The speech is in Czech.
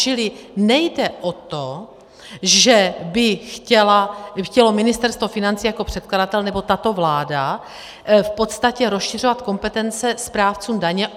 Čili nejde o to, že by chtělo Ministerstvo financí jako předkladatel nebo tato vláda v podstatě rozšiřovat kompetence správcům daně.